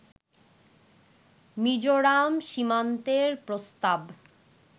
মিজোরাম সীমান্তের প্রস্তাব